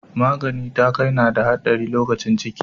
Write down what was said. Magani ta kai na da haɗari lokacin ciki.